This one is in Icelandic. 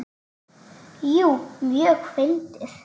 Jú, mjög fyndið.